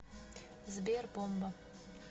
сбер бомба